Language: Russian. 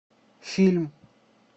фильм